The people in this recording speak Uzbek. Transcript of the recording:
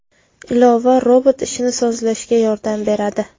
Ilova robot ishini sozlashga yordam beradi.